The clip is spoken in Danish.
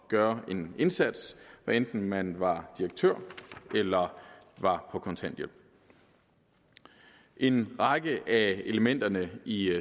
gøre en indsats hvad enten man var direktør eller var på kontanthjælp en række af elementerne i